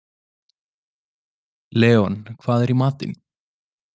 Leon, hvað er í matinn?